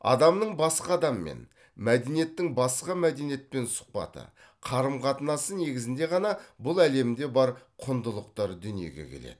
адамның басқа адаммен мәдениеттің басқа мәдениетпен сұхбаты қарым қатынасы негізінде ғана бұл әлемдегі бар құндылықтар дүниеге келеді